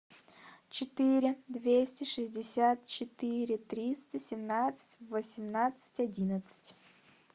четыре двести шестьдесят четыре триста семнадцать восемнадцать одиннадцать